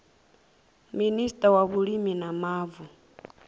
minista wa vhulimi na mavu